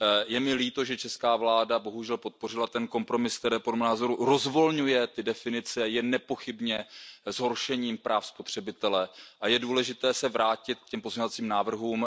Je mi líto, že česká vláda bohužel podpořila ten kompromis, který podle mého názoru rozvolňuje ty definice a je nepochybně zhoršením práv spotřebitele, a je důležité se vrátit k těm pozměňovacím návrhům.